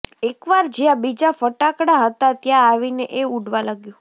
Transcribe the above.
એકવાર જ્યાં બીજા ફટાકડા હતા ત્યાં આવીને એ ઊડવા લાગ્યું